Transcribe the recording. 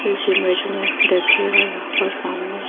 इस इमेज में दिखेगा यहां पर सामने--